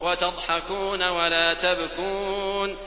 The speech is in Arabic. وَتَضْحَكُونَ وَلَا تَبْكُونَ